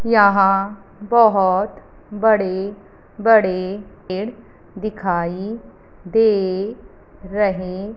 यहां बहोत बड़े बड़े पेड़ दिखाई दे रहे--